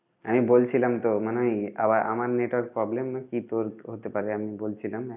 আমি বলছিলাম তো মানে ওই আবার আমার network problem নাকি তোর হতে পারে আমি বলছিলাম